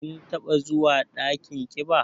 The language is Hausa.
Kin taɓa zuwa dakin ƙiba?